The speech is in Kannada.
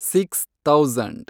six thousand